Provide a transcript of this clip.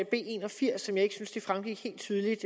b en og firs som jeg ikke synes det fremgik helt tydeligt